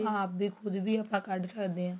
ਆਪਾ ਆਪ ਵੀ ਪੂਰੀ ਕੱਢ ਸਕਦੇ ਹਾਂ